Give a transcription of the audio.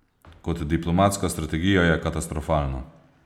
Kot diplomatska strategija je katastrofalno.